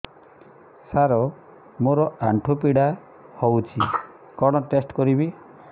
ସାର ମୋର ଆଣ୍ଠୁ ପୀଡା ହଉଚି କଣ ଟେଷ୍ଟ କରିବି